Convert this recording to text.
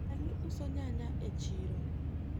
dani uso nyanya e siro